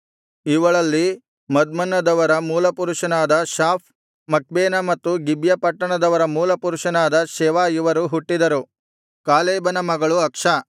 ಇವಳಲ್ಲಿ ಮದ್ಮನ್ನದವರ ಮೂಲಪುರುಷನಾದ Shaaph Machbenah ಮತ್ತು ಗಿಬ್ಯ ಪಟ್ಟಣದವರ ಮೂಲಪುರುಷನಾದ ಶೆವ ಇವರು ಹುಟ್ಟಿದರು ಕಾಲೇಬನ ಮಗಳು ಅಕ್ಷಾ